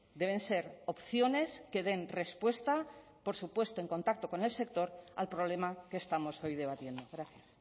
deben ser opciones que den respuesta por su puesto en contacto con el sector al problema que estamos hoy debatiendo gracias